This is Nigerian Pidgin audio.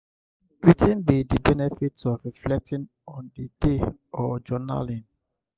wetin be di benefit of reflecting on di day or journaling?